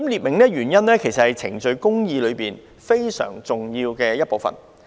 列明原因，其實是程序公義非常重要的一部分。